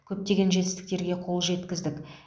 көптеген жетістіктерге қол жеткіздік